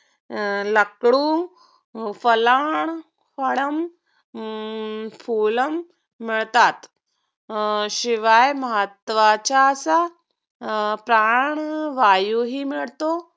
अं लाकडू फळम हम्म फुलम मिळतात अं शिवाय महत्वाचा अं प्राणवायू हि मिळतो.